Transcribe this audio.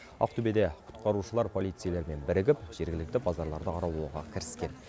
ақтөбеде құтқарушылар полицейлермен бірігіп жергілікті базарларды аралауға кіріскен